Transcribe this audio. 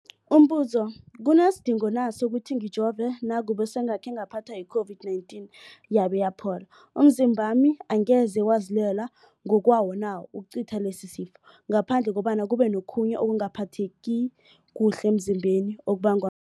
Umbuzo, kunesidingo na sokuthi ngijove nakube sengakhe ngaphathwa yi-COVID-19 yabe yaphola? Umzimbami angeze wazilwela ngokwawo na ukucitha lesisifo, ngaphandle kobana kube nokhunye ukungaphatheki kuhle emzimbeni okubangwa